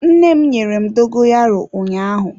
Nne m nyere m dogoyaro ụnyaahụ.